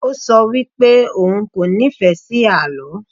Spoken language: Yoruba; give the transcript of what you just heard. O sọ wipe òun kò nífẹ́ sí àlọ́.